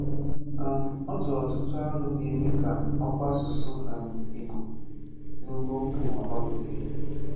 um Ọ tụrụ ọtụtụ̀ àlò gā-eme ka ọ̀kwà asụ̀sụ́ um Ìgbò n’ógò mbà Ụ́wa gbàgòte.